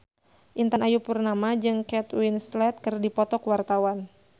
Intan Ayu Purnama jeung Kate Winslet keur dipoto ku wartawan